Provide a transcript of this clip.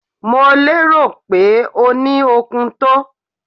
Mo lérò pé o ní okun tó.